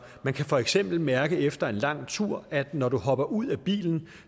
kan for eksempel mærke efter en lang tur at når du hopper ud af bilen